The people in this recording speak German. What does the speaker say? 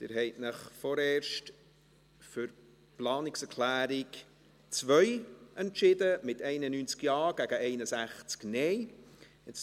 Sie haben sich vorerst für die Planungserklärung 2 entschieden, mit 91 Ja- gegen 61 Nein-Stimmen bei 0 Enthaltungen.